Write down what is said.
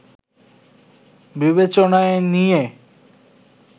বিবেচনায় নিয়ে